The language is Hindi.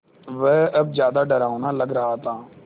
वह अब ज़्यादा डरावना लग रहा था